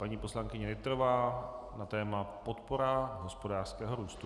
Paní poslankyně Nytrová na téma podpora hospodářského růstu.